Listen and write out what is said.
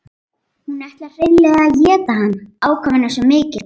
Hún ætlar hreinlega að éta hann, ákafinn er svo mikill.